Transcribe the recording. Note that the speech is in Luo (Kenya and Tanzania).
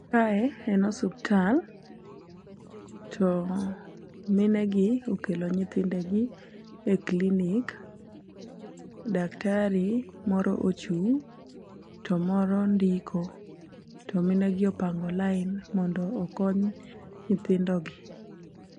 Kae en osuptal to mine gi okelo nyithinde gi e clinic . Daktari moro ochung' to moro ndiko to mine gi opango lain mondo okony nyithindo gi.